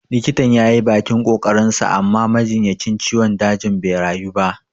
Likitan yayi bakin ƙoƙarin sa amma majinyacin ciwon dajin bai rayu ba